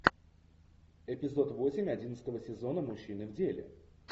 эпизод восемь одиннадцатого сезона мужчины в деле